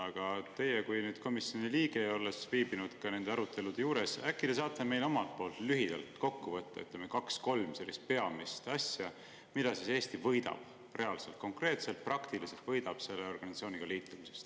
Aga teie kui komisjoni liige, kes te viibisite ka nende arutelude juures, äkki te saate omalt poolt lühidalt kokku võtta kaks-kolm peamist asja, mida Eesti võidab, mida ta reaalselt, konkreetselt, praktiliselt võidab selle organisatsiooniga liitumisest.